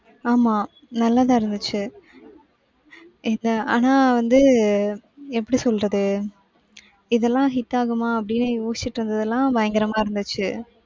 ஆமா நல்லா தான் இருந்துச்சு. இது ஆனா வந்து எப்படி சொல்றது இதெல்லாம் hit ஆகுமா அப்டினு யோசிச்சுட்டு இருந்தது எல்லாம் பயங்கரமா இருந்துச்சு.